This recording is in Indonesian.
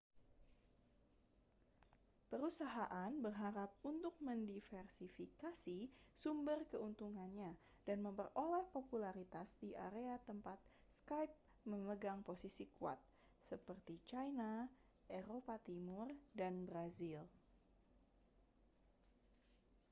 perusahaan berharap untuk mendiversifikasi sumber keuntungannya dan memperoleh popularitas di area tempat skype memegang posisi kuat seperti china eropa timur dan brasil